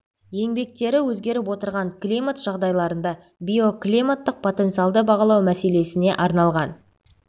еңбектері өзгеріп отырған климат жағдайларында биоклиматтық потенциалды бағалау мәселесіне арналған